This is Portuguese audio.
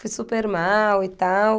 Fui super mal e tal.